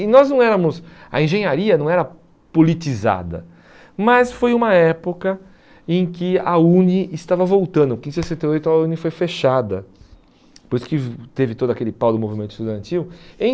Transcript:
E nós não éramos, a engenharia não era politizada, mas foi uma época em que a Uni estava voltando, porque em sessenta e oito a Uni foi fechada, depois que teve todo aquele pau do movimento estudantil, em